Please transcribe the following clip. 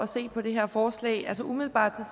se på det her forslag altså umiddelbart